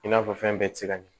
I n'a fɔ fɛn bɛɛ tɛ se ka ɲɛ